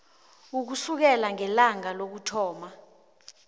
ukusukela ngelanga lokuthoma